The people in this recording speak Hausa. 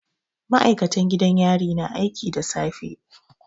Ma'aikatan gidan yari na aiki da safe